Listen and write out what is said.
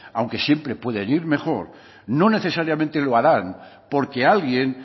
aunque siempre pueden ir mejor no necesariamente lo harán porque alguien